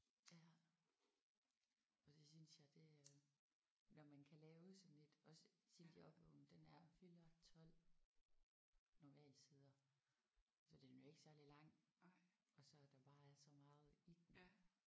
Ja. Og det synes jeg det øh når man kan lave sådan et også Sildig Opvågnen den er 412 normalsider så den er jo ikke særlig lang og så at der bare er så meget i den